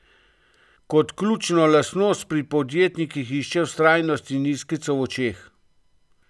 Kot ključno lastnost pri podjetnikih išče vztrajnost in iskrico v očeh.